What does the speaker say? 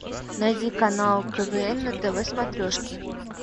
найди канал квн на тв смотрешке